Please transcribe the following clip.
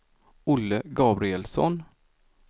Olle Gabrielsson